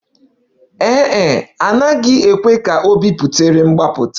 Ee e, a naghị ekwe ka ọ biputere mgbapụta